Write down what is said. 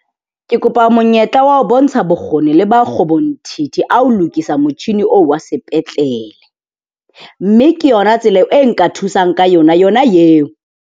Ke kopa monyetla wa ho bontsha bokgoni le makgobonthithi a ho lokisa motjhini oo wa sepetlele, mme ke yona tsela e nka thusang ka yona yona eo.